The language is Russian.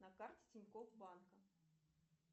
на карте тинькофф банка